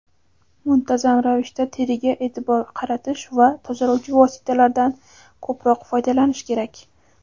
muntazam ravishda teriga e’tibor qaratish va tozalovchi vositalardan ko‘proq foydalanish kerak.